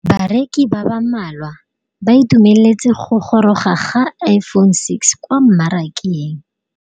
Bareki ba ba malwa ba ituemeletse go gôrôga ga Iphone6 kwa mmarakeng.